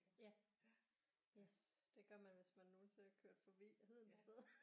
Ja yes det gør man hvis man nogensinde er kørt forbi Hedensted